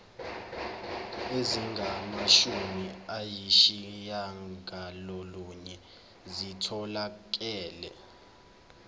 ezingamashumi ayishiyagalolunye zitholakele